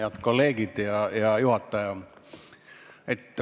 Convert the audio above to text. Head kolleegid ja hea juhataja!